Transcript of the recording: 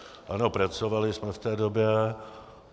Ano, pracovali jsme v té době.